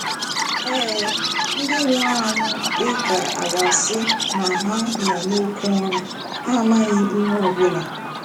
Eee, ndị nwụrụ anwụ dị ka à ga-asị na ha nọ n'oké ụra, ha amaghị ihe ọ bụla.